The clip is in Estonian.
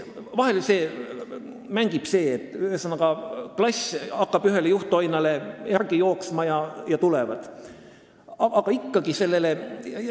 2016. aastal tuli 13 last.